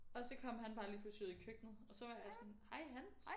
Og så kom han bare lige pludselig ud i køkkenet og så var jeg sådan hej Hans